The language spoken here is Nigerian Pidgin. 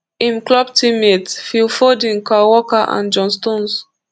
im club teammates phil foden kyle walker and john stones